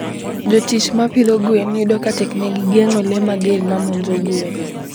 Jotich ma pidho gwen yudo ka teknegi geng'o le mager ma monjo gwen.